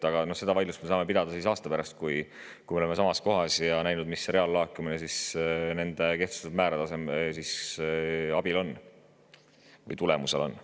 Aga seda vaidlust me saame pidada aasta pärast samas kohas, kui oleme näinud, milline on reaallaekumine nende kehtestatud määrade tulemusel olnud.